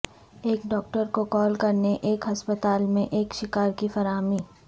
ایک ڈاکٹر کو کال کرنے یا ایک ہسپتال میں ایک شکار کی فراہمی